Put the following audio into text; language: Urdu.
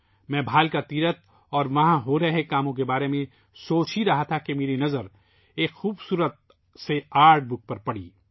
میں بھالکا تیرتھ اور وہاں ہونے والے کام کے بارے میں سوچ رہا تھا کہ میں نے ایک خوبصورت آرٹ بک دیکھی